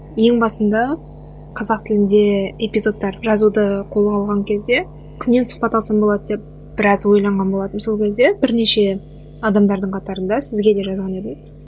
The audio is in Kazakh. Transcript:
ең басында қазақ тілінде эпизодтар жазуды қолға алған кезде кімнен сұхбат алсам болады деп біраз ойланған болатынмын сол кезде бірнеше адамдардың қатарында сізге де жазған едім